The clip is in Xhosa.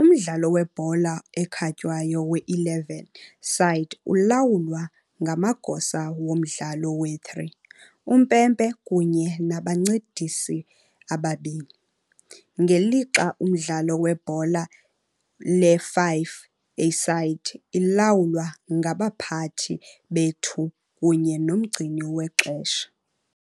umdlalo webhola ekhatywayo we-11-side ulawulwa ngamagosa womdlalo we-3, uMpempe kunye nabaNcedisi ababini, ngelixa umdlalo webhola le-5-a-side lilawulwa ngabaPhathi be-2 kunye noMgcini wexesha.